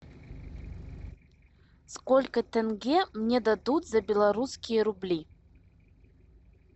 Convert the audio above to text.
сколько тенге мне дадут за белорусские рубли